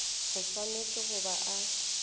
o swanetše go ba a